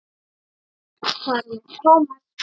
Þar á meðal Thomas.